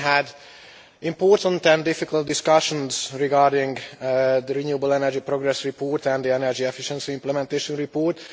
We have had important and difficult discussions regarding the renewable energy progress report and the energy efficiency implementation report.